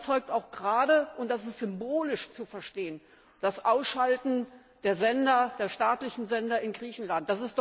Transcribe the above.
Davon zeugt auch gerade und das ist symbolisch zu verstehen das Ausschalten der staatlichen Sender in Griechenland.